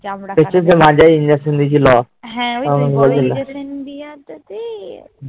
Injection দিয়েছিলো